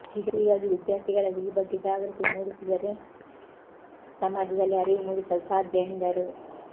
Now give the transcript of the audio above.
ಹೀಗಾಗಿ ವಿದ್ಯಾರ್ಥಿಗಳಲ್ಲಿ ಈ ಬಗ್ಗೆ ಜಾಗೃತಿ ಮೂಡಿಸಿದರೆ ಸಮಾಜದಲ್ಲಿ ಅರಿವು ಮೂಡಿಸಲು ಸಾಧ್ಯ ಎಂದರು